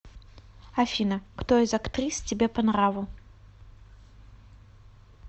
афина кто из актрис тебе по нраву